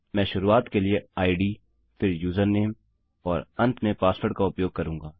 मैं शुरूआत के लिए इद फिर यूजर नामे और अंत में पासवर्ड का उपयोग करूँगा